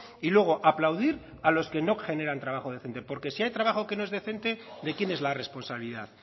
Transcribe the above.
y luego aplaudir a los que no generan trabajo decente porque si hay trabajo que no es decente de quién es la responsabilidad